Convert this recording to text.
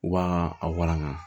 U b'a a walanga